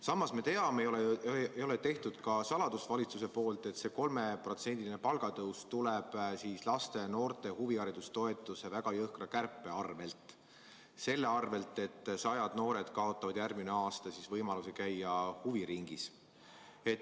Samas me teame, valitsus ei ole sellest saladust teinud, et see 3%-line palgatõus tuleb laste ja noorte huvihariduse toetuse väga jõhkra kärpe teel, mille tõttu sajad noored kaotavad järgmisel aastal võimaluse käia huviringis.